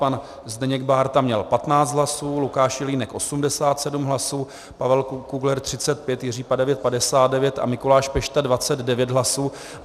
Pan Zdeněk Bárta měl 15 hlasů, Lukáš Jelínek 87 hlasů, Pavel Kugler 35, Jiří Padevět 59 a Mikuláš Pešta 29 hlasů.